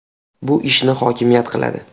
Bu ishni hokimiyat qiladi.